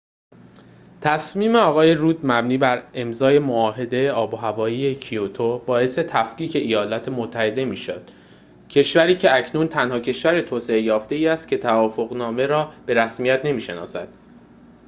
تصمیم آقای رود مبنی بر امضای معاهده آب‌وهوایی کیوتو باعث تفکیک ایالات متحده می‌شود کشوری که اکنون تنها کشور توسعه‌یافته‌ای است که توافق‌نامه را به رسمیت نمی‌شناسد